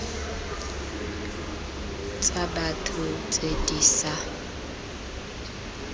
tsa batho tse di sa